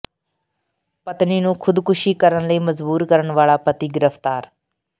ਪਤਨੀ ਨੂੰ ਖ਼ੁਦਕੁਸ਼ੀ ਕਰਨ ਲਈ ਮਜਬੂਰ ਕਰਨ ਵਾਲਾ ਪਤੀ ਗ੍ਰਿਫ਼ਤਾਰ